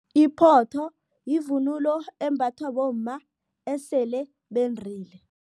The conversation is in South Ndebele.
Iphotho yivunulo embathwa bomma esele bendile.